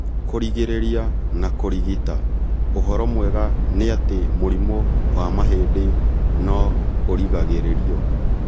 Kũrigĩrĩria na kũrigita: ũhoro mwega nĩ atĩ mũrimũ wa mahĩndĩ no ũrigagĩrĩrio